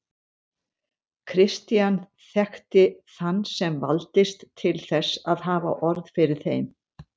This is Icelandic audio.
Christian þekkti þann sem valdist til þess að hafa orð fyrir þeim.